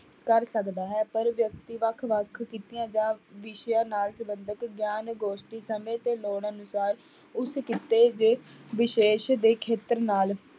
ਕਰ ਸਕਦਾ ਹੈ, ਪਰ ਵਿਅਕਤੀ ਵੱਖ ਵੱਖ ਕਿੱਤਿਆਂ ਜਾਂ ਵਿਸ਼ਿਆਂ ਨਾਲ ਸੰਬੰਧਤ ਗਿਆਨ ਗੋਸ਼ਟੀ ਸਮੇਂ ਤੇ ਲੋੜ ਅਨੁਸਾਰ ਉਸ ਕਿੱਤੇ ਦੇ ਵਿਸ਼ੇਸ਼ ਦੇ ਖੇਤਰ ਨਾਲ